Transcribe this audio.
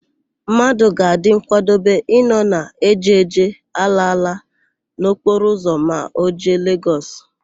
Mmadụ ga-adị nkwadobe ịnọ na èjèèjè, álaála n'okporoụzọ ma o jee Legọs.